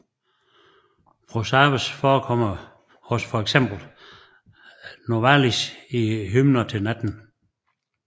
Prosavers forekommer hos for eksempel Novalis i Hymner til natten